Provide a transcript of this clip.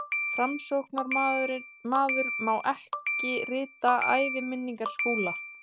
Framsóknarmaður mátti ekki rita æviminningar Skúla.